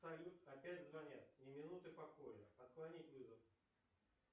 салют опять звонят ни минуты покоя отклонить вызов